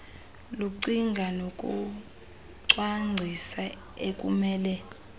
lokucinga nokucwangcisa ekumele